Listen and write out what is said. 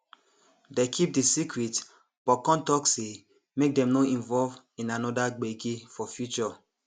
dey keep the secret but con talk say make dem no involve in another gbege for future